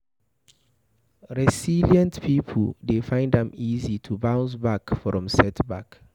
Resilient pipo dey find am easy to bounce back from setback